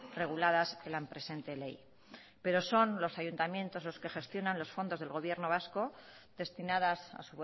reguladas en la presente ley pero son los ayuntamientos los que gestionan los fondos del gobierno vasco destinadas a